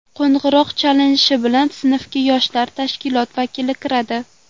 Qo‘ng‘iroq chalinishi bilan sinfga yoshlar tashkiloti vakili kiradi.